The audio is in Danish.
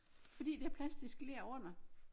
Fordi der er plastisk ler under